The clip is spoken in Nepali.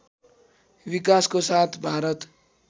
विकासको साथ भारत